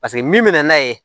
Paseke min mɛna n'a ye